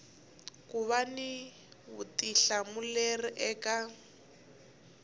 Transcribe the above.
ku va ni vutihlamuleri eka